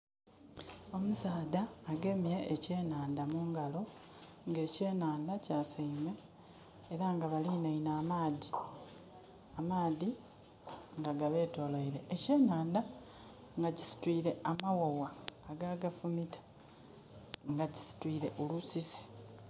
Omusadha agemye ekyenandha mu ngalo nga ekyenandha kyaseime era nga balineinhe amaadhi, amaadhi nga gabetolweire. Ekyenandha nga kisitwire amawawa ago agafumita nga kisitwire olusisi.